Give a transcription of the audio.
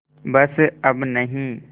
बस अब नहीं